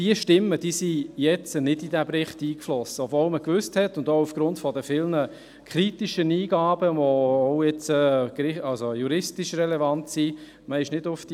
Diese Stimmen flossen nun nicht in diesen Bericht ein, obwohl man von ihnen gewusst hat, auch aufgrund der vielen kritischen Eingaben, die auch juristisch relevant sind.